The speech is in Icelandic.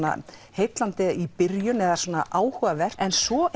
heillandi í byrjun eða áhugavert en svo